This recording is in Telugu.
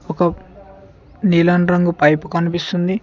ఒక నీలం రంగు పైపు కనిపిస్తుంది.